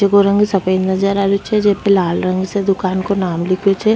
जेको रंग सफेद नजर आ रेहो छे जेको लाल रंग से दुकान को नाम लिखयो छे --